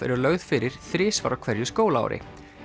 eru lögð fyrir þrisvar á hverju skólaári